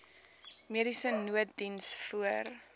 mediese nooddiens voor